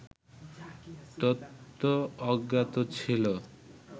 তথ্য অজ্ঞাত ছিল